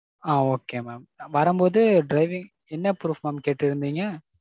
ஆ okay mam. வரும்போது driving? என்ன proof mam கேட்டிருந்தீங்க?